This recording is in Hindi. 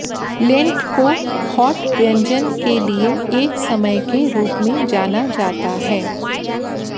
लेंट को हौट व्यंजन के लिए एक समय के रूप में जाना जाता है